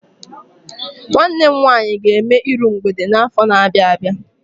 Nwanne m nwaanyị ga-eme iru mgbede n'afọ na-abịa abịa.